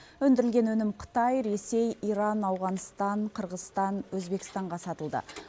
өндірілген өнім қытай ресей иран ауғанстан қырғызстан өзбекстанға сатылды